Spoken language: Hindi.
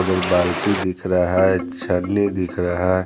दो बाल्टी दिख रहा है अच्छा नहीं दिख रहा है।